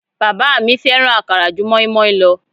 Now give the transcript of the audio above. Bàbá mi fẹ́ràn akara ju moinmoin lọ